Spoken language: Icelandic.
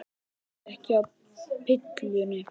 Ertu ekki á pillunni?